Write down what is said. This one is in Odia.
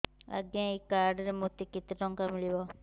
ଆଜ୍ଞା ଏଇ କାର୍ଡ ରେ ମୋତେ କେତେ ଟଙ୍କା ମିଳିବ